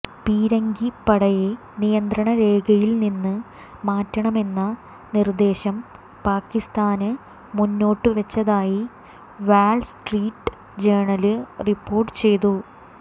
പീരങ്കിപ്പടയെ നിയന്ത്രണരേഖയില്നിന്ന് മാറ്റണമെന്ന നിര്ദ്ദേശം പാക്കിസ്ഥാന് മുന്നോട്ടുവെച്ചതായി വാള്സ്ട്രീറ്റ് ജേര്ണല് റിപ്പോര്ട്ടുചെയ്യുന്നു